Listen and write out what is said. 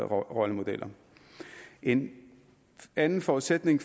rollemodel en anden forudsætning